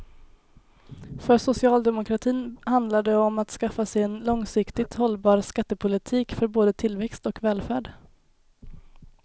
För socialdemokratin handlar det om att skaffa sig en långsiktigt hållbar skattepolitik för både tillväxt och välfärd.